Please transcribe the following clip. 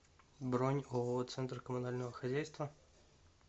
бронь ооо центр коммунального хозяйства